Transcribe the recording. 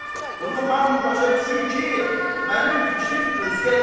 Bunu hamı başa düşür ki, mənim fikrim özgədir.